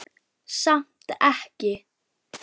Samt ekki.